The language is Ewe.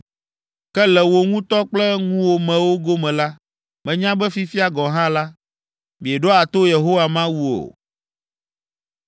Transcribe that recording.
Ke le wò ŋutɔ kple ŋuwòmewo gome la, menya be fifia gɔ̃ hã la, mieɖoa to Yehowa Mawu o.”